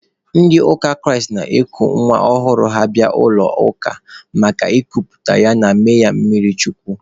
Ndị ụka Kraịst na-eku nwa ọhụrụ ha bịa n'ụlọ ụka maka ịkuputa ya na ime mmiri chukwu.